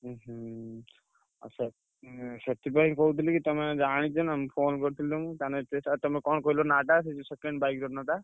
ଉହୁଁ ଆଚ୍ଛା ହୁଁ ସେଥ~ ସେଥିପାଇଁ କହୁଥିଲି କି ତମେ ଜାଣିଛ ନା phone କରିଥିଲି ତମୁକୁ। ତାନେ ସେ ତା ତମେ କଣ କହିଲ ନାଁ ଟା ସେ ଯୋଉ second bike ଟା?